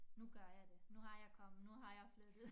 Nu gør jeg det nu har jeg kommet nu har jeg flyttet